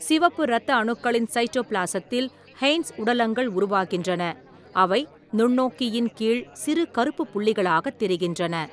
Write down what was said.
சிவப்பு இரத்த அணுக்களின் சைட்டோபிளாஸத்தில் ஹெய்ன்ஸ் உடலங்கள் உருவாகின்றன, அவை நுண்ணோக்கியின் கீழ் சிறு கருப்புப் புள்ளிகளாகத் தெரிகின்றன.